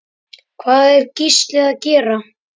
Hvað er Gísli að gera?